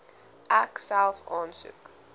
ek self aansoek